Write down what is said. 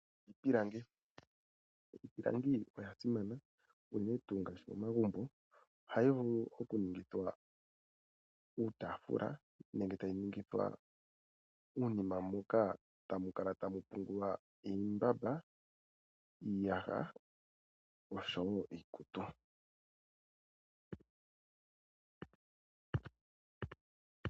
Iipilangi, iipilangi oyasimana uunene tuu ngaashi momagumbo. Ohayi vulu okuningithwa uutaafula nenge tayi ningithwa uunima muka tamukala tamupungulwa iimbamba, iiyaha, osho wo iikutu.